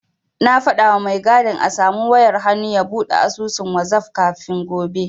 Na faɗawa mai gadin a samu wayar hannu ya buɗe asusun wazaf kafin gobe.